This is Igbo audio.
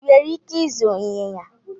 Ị nwere ike ịzụ ịnyịnya